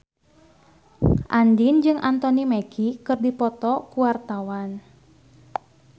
Andien jeung Anthony Mackie keur dipoto ku wartawan